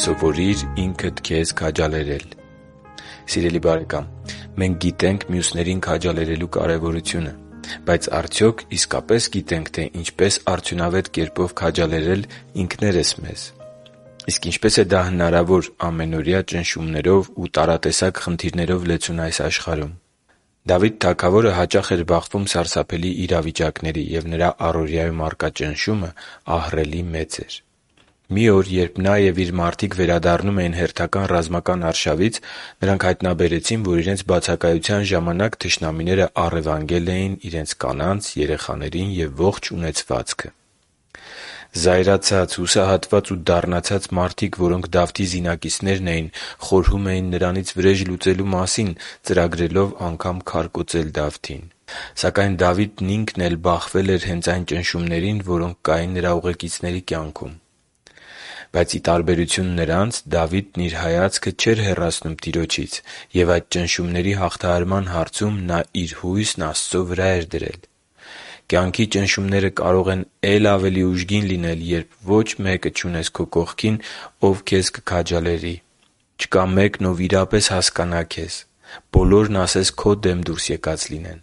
Սովորի՛ր ինքդ քեզ քաջալերել Սիրելի՛ բարեկամ, մենք գիտենք մյուսներին քաջալերելու կարևորությունը։ Բայց արդյոք մենք իսկապես գիտե՞նք, թե ինչպես արդյունավետ կերպով քաջալերել ինքներս մեզ: Իսկ ինչպե՞ս է դա հնարավոր ամենօրյա ճնշումներով ու տարատեսակ խնդիրներով լեցուն այս աշխարհում: Դավիթ թագավորը հաճախ էր բախվում սարսափելի իրավիճակների, և նրա առօրյայում առկա ճնշումն ահռելի մեծ էր։ Մի օր, երբ նա և իր մարդիկ վերադառնում էին հերթական ռազմական արշավից, նրանք հայտնաբերեցին, որ իրենց բացակայության ժամանակ թշնամիները առևանգել էին իրենց կանանց, երեխաներին և ողջ ունեցվածքը: Զայրացած, հուսահատված ու դառնացած մարդիկ, որոնք Դավթի զինակիցներն էին խորհում էին նրանից վրեժ լուծելու մասին՝ ծրագրելով քարկոծել Դավթին։ Սակայն Դավիթը ինքն էլ բախվել էր հենց այն նույն ճնշումներին, որոնք կային նրա ուղեկիցների կյանքում։ Սակայն, ի տարբերություն նրանց, Դավիթն իր հայացքը չէր հեռացնում Տիրոջից, և այդ ճնշումների հաղթահարման հարցում նա իր հույսն Աստծո վրա էր դրել։ Կյանքի ճնշումները կարող են է՛լ ավելի ուժգին լինել, երբ ոչ մեկը չունես քո կողքին, ով քեզ կքաջալերի, չկա մեկն, ով իրապես կհասկանա քեզ, բոլորն ասես քո դեմ դուրս եկած լինեն։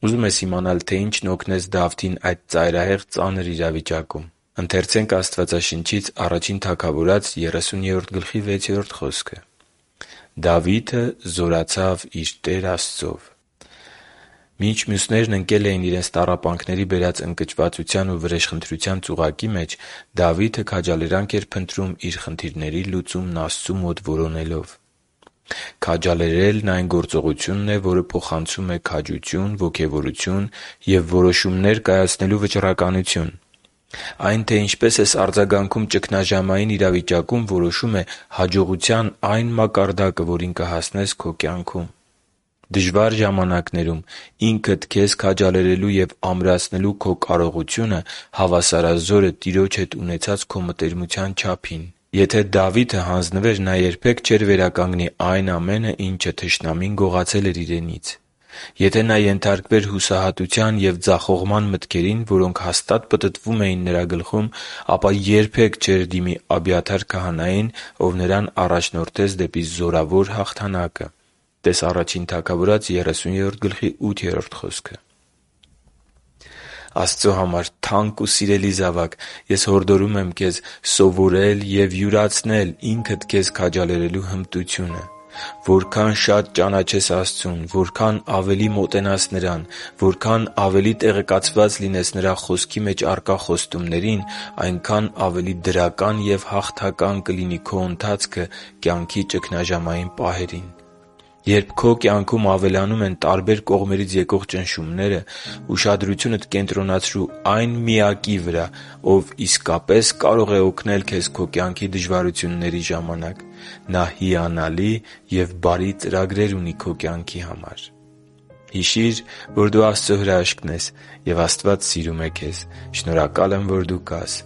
Ուզո՞ւմ ես իմանալ, թե ինչն օգնեց Դավթին այդ ծայրահեղ ծանր իրավիճակում։ Ընթերցե՛նք Աստվածաշնչից․ «Դավիթը զորացավ իր Տեր Աստծով» (Ա Թագավորաց 30․6): Մինչ մյուսները ընկել էին իրենց տառապանքների բերած ընկճվածության ու վրեժխնդրության ծուղակի մեջ, Դավիթը քաջալերանք էր փնտրում՝ իր խնդիրների լուծումն Աստծու մոտ որոնելով։ «Քաջալերելն» այն գործողությունն է, որը փոխանցում է քաջություն, ոգևորություն և որոշումներ կայացնելու վճռականություն։ Այն, թե ինչպես ես արձագանքում ճգնաժամային իրավիճակում, որոշում է հաջողության այն մակարդակը, որին կհասնես քո կյանքում: Դժվար ժամանակներում ինքդ քեզ քաջալերելու և ամրացնելու քո կարողությունը հավասարազոր է Տիրոջ հետ ունեցած քո մտերմության չափին: Եթե Դավիթը հանձնվեր, նա երբե՛ք չէր վերականգնի այն ամենը, ինչ չարը գողացել էր իրենից: Եթե նա ենթարկվեր հուսահատության և ձախողման մտքերին, որոնք հաստատ պտտվում էին նրա գլխում, ապա երբե՛ք չէր դիմի Աբիաթար քահանային, ով նրան առաջնորդեց դեպի զորավոր հաղթանակը (տե՛ս Ա Թագավորաց 30․8 խոսքը)։ Աստծո համար թանկ ու սիրելի՛ զավակ, ես հորդորում եմ քեզ սովորել և յուրացնել ինքդ քեզ քաջալերելու հմտությունը։ Որքան շատ ճանաչես Աստծուն, որքան ավելի մոտենաս Նրան, որքան ավելի տեղեկացված լինես Նրա Խոսքի մեջ առկա խոստումներին, այնքան ավելի դրական և հաղթական կլինի քո ընթացքը կյանքի ճգնաժամային պահերին։ Երբ քո կյանքում ավելանում են տարբեր կողմերից եկող ճնշումները, ուշադրությունդ կենտրոնացրո՛ւ այն Միակի վրա, Ով իսկապես կարող է օգնել քեզ քո կյանքի դժվարությունների ժամանակ: Նա հիանալի ու բարի ծրագիր ունի քո կյանքի համար։ Հիշի՛ր, որ դու Աստծո հրաշքն ես, և Աստված սիրում է քեզ։ Շնորհակալ եմ, որ դու կա՛ս